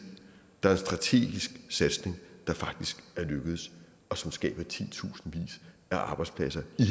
der er en strategisk satsning der faktisk er lykkedes og som skaber titusindvis af arbejdspladser i